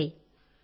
నమస్తే